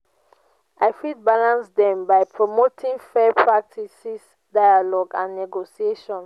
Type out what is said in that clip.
i fit balance dem by promoting fair practices dialogue and negotiation.